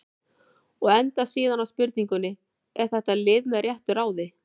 Og endar síðan á spurningunni: Er þetta lið með réttu ráði?